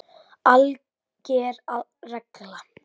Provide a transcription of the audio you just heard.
ALGER REGLA